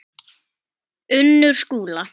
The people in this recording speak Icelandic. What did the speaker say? Unnur Skúla.